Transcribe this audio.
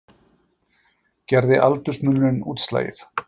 Gerði aldursmunurinn útslagið